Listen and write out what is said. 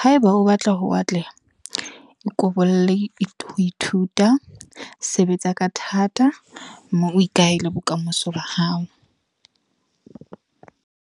Haeba o batla ho atleha. O ko bolelle ho ithuta, sebetsa ka thata. Mme o ikahele bokamoso ba hao.